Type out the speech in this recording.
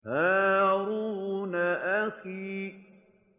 هَارُونَ أَخِي